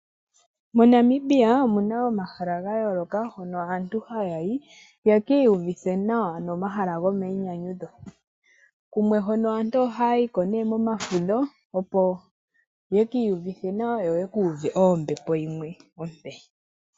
MoNamibia omuna omahala ga yooloka hono aantu haya yi yeki uvithe nawa komahala gomayi nyanyudho. Kumwe hono aantu ohaya yiko momafudho opo ye ki yuvithe nawa yo yeku uve ombepo yimwe ompe.